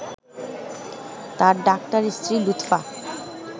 তাঁর ডাক্তার স্ত্রী লুৎফা